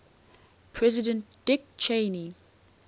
president dick cheney